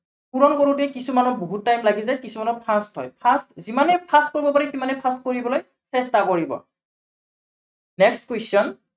পূৰণ কৰোতে কিছুমানৰ বহুত time লাগি যায়, কিছুমান fast হয়। fast যিমানেই fast কৰিব পাৰি সিমানেই fast কৰিবলৈ চেষ্টা কৰিব। next question